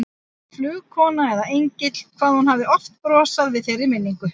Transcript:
Flugkona eða engill, hvað hún hafði oft brosað við þeirri minningu.